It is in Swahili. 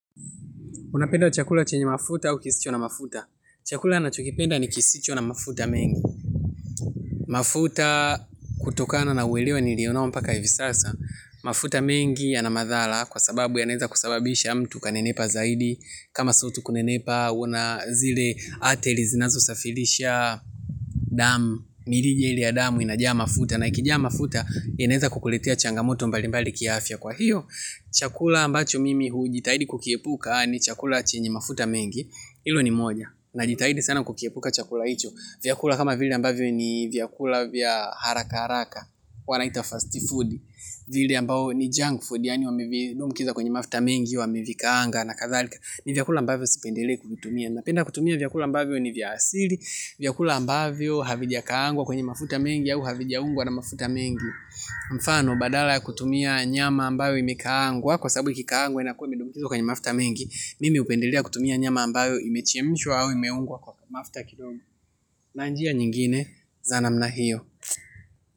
Unapenda chakula chenye mafuta au kisicho na mafuta? Chakula nachokipenda ni kisicho na mafuta mengi. Mafuta, kutokana na uelewa nilio nao mpaka hivi sasa. Mafuta mengi yana madhala kwa sababu yanaeza kusababisha mtu kanenepa zaidi. Kama so tu kunenepa, unazile ateli zinazo safilisha damu. Mirijeli ya damu inajaa mafuta. Na ikijaa mafuta yanaeza kukuletea changamoto mbalimbali kiafya kwa hiyo. Chakula ambacho mimi hujitahidi kukiepuka ni chakula chenye mafuta mengi. Hilo ni moja. Najitahidi sana kukiepuka chakula icho. Vyakula kama vile ambavyo ni vyakula vya haraka haraka. Wanaita fast food. Vile ambao ni junk food yani wamevitumbukiza kwenye mafuta mengi wamevikaanga na kathalika. Ni vyakula ambavyo sipendelei kutumia. Napenda kutumia vyakula ambavyo ni vya asili, vyakula ambavyo havijakaangwa kwenye mafuta mengi au havijaungwa na mafuta mengi. Mfano badala ya kutumia nyama ambayo imekaangwa. Kwa sababu ikikaangwa inakuwa imetumbukizwa kwenye mafuta mengi. Mimi upendelea kutumia nyama ambayo imechemishwa au imeungwa kwa mafta kidogo. Na njia nyingine za namna hiyo.